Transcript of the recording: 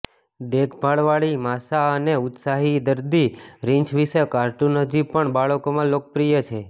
દેખભાળવાળી Masha અને ઉત્સાહી દર્દી રીંછ વિશે કાર્ટુન હજી પણ બાળકોમાં લોકપ્રિય છે